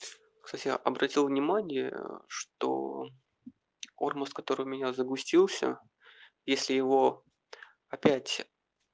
кстати обратил внимание что ормус которой у меня загустился если его опять